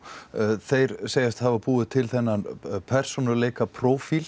þeir segjast hafa búið til þennan